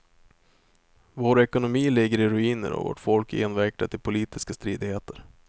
Vår ekonomi ligger i ruiner och vårt folk är invecklat i politiska stridigheter.